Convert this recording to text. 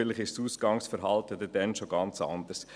Vielleicht ist das Ausgehverhalten dann schon ganz anders.